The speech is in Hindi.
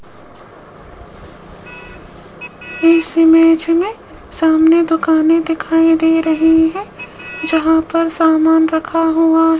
इस इमेज में सामने दुकानें दिखाई दे रही है जहां पर सामान रखा हुआ --